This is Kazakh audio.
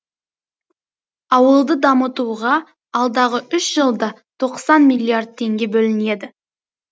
ауылды дамытуға алдағы үш жылда тоқсан миллиард теңге бөлінеді